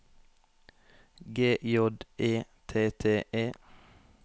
G J E T T E